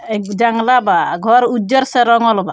एक जंगला बा आ घर उज्जर से रंगल बा।